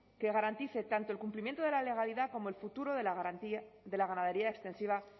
que garantice tanto el cumplimiento de la legalidad como el futuro de la ganadería extensiva